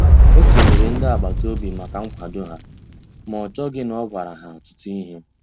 O kelere ndi agbata obi ya maka nkwado ha, ma o chọghị na o gwara ha ọtụtụ ihe.